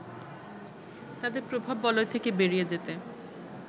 তাদের প্রভাববলয় থেকে বেরিয়ে যেতে